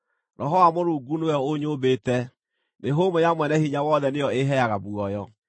Roho wa Mũrungu nĩwe ũnyũmbĩte; mĩhũmũ ya Mwene-Hinya-Wothe nĩyo ĩĩheaga muoyo.